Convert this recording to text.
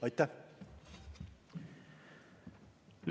Aitäh!